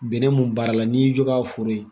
Bɛnɛ mun baara la n'i y'i jɔ ka foro ye,